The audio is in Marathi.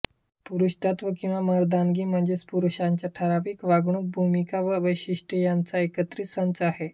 पुरुषत्व किंवा मर्दानगी म्हणजे पुरुषांची ठरावीक वागणूक भूमिका व वैशिष्टे ह्यांचा एकत्रित संच आहे